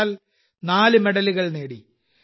വിശാൽ നാല് മെഡലുകൾ നേടി